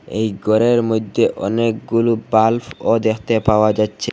এই গরের মইদ্যে অনেকগুলো বাল্ভও দেখতে পাওয়া যাচ্ছে।